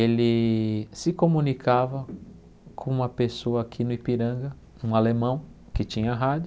Ele se comunicava com uma pessoa aqui no Ipiranga, um alemão, que tinha rádio.